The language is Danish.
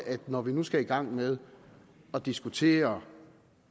at det når vi nu skal i gang med at diskutere